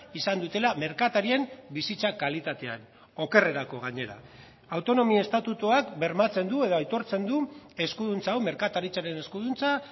izan dutela merkatarien bizitza kalitatean okerrerako gainera autonomia estatutuak bermatzen du edo aitortzen du eskuduntza hau merkataritzaren eskuduntza